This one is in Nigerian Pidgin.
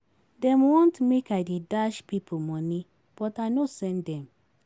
Dem want make I dey dash pipo moni but I no send dem.